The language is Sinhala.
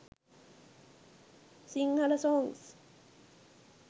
sinhala songs